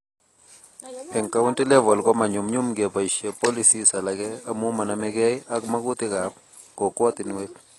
Eng county level komanyumnyum keboisie policies alage amu manamegei ak makutikab kokwotinwek